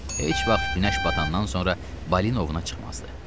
Heç vaxt günəş batandan sonra Balinovuna çıxmazdı.